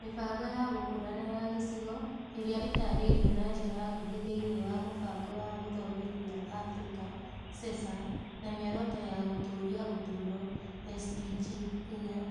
Mĩbango ya gũkũra na ya gĩcigo ĩrĩa ĩtaarĩirio na njĩra nguhĩ thĩinĩ wa Mũbango wa Gũthomithia Abirika (CESA), na Mĩoroto ya Gũtũũria Ũtũũro (SDG) 4 .